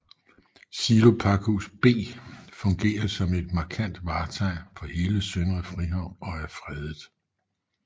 Silopakhus B fungerer som et markant vartegn for hele Søndre Frihavn og er fredet